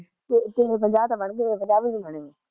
ਤੇਰੇ ਪੰਜਾਹ ਤਾਂ ਬਣਗੇ ਮੇਰੇ ਪੰਜਾਹ ਵੀ ਨੀ ਬਣੇ ਵੇ